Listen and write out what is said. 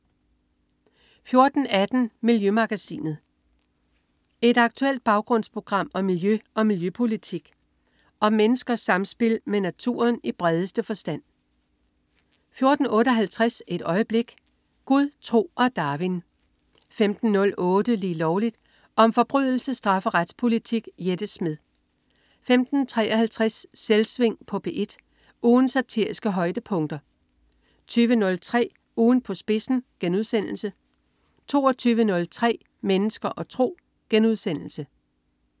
14.18 Miljømagasinet. Et aktuelt baggrundsprogram om miljø og miljøpolitik og om menneskers samspil med naturen i bredeste forstand 14.58 Et øjeblik. Gud, tro og Darwin 15.08 Lige Lovligt. Om forbrydelse, straf og retspolitik. Jette Smed 15.53 Selvsving på P1. Ugens satiriske højdepunkter 20.03 Ugen på spidsen* 22.03 Mennesker og tro*